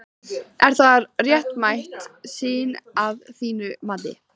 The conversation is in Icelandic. Er það réttmæt sýn að þínu mati?